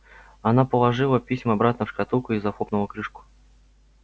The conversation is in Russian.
она положила письма обратно в шкатулку и захлопнула крышку